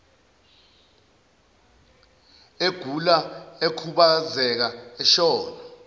egula ekhubazeka eshona